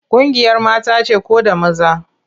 Ƙungiyar mata ce ko da maza?